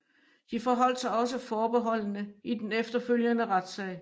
De forholdt sig også forbeholdne i den efterfølgende retssag